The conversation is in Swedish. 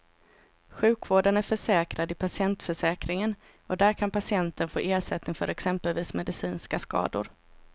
Sjukvården är försäkrad i patientförsäkringen och där kan patienten få ersättning för exempelvis medicinska skador.